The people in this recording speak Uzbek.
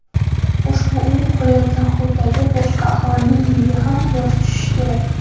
ushbu uy qurilayotgan hududdagi boshqa aholining uyiga ham quyosh tushishi kerak.